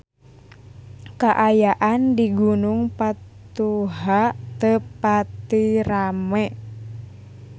Kaayaan di Gunung Patuha teu pati rame